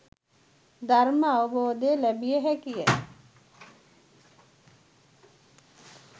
ධර්ම අවබෝධය ලැබිය හැකි ය.